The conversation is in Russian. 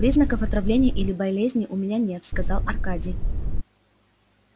признаков отравления или болезни у меня нет сказал аркадий